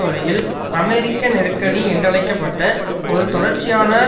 வழியில் அமெரிக்க நெருக்கடி என்றழைக்க பட்ட ஒரு தொடர்ச்சியான